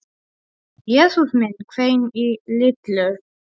Jesús minn hvein í Lillu.